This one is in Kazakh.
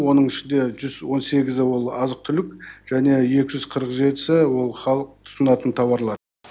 оның ішінде жүз он сегізі ол азық түлік және екі жүз қырық жетісі ол халық тұтынатын тауарлар